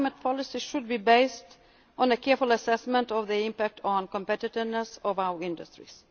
vice versa. Our climate policies should be based on a careful assessment of their impact on the competitiveness of our